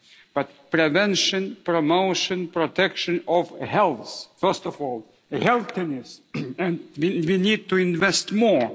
But prevention, promotion, protection of health first of all healthiness we need to invest more.